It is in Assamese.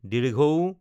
ঊ